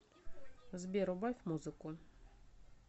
сбер убавь музыку